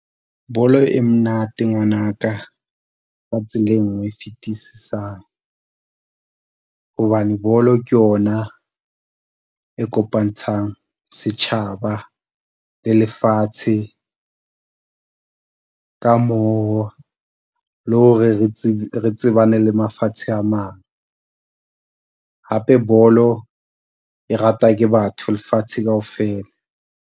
Bolo e monate ngwanaka, ka tsela e nngwe e fetisisang hobane bolo ke yona e kopantshang setjhaba le lefatshe. Ka moo le hore re re tsebane le mafatshe a mang. Hape bolo e ratwa ke batho lefatshe kaofela.